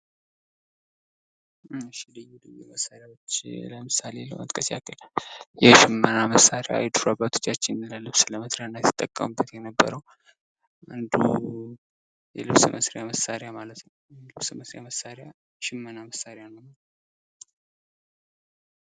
ልዩ ልዩ መሳሪያዎች ለምሳሌ ለመጥቀስ ያክል የሽመና መሳሪያ ድሮ አባቶቻችን ለልብስ መስሪያነት ይጠቀሙበት የነበረዉ የልብስ መስረመያ ማለት ነዉ። የሽመና መሳሪያ ነዉ።